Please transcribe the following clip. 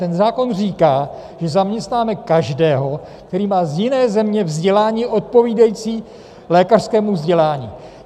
Ten zákon říká, že zaměstnáme každého, kdo má z jiné země vzdělání odpovídající lékařskému vzdělání.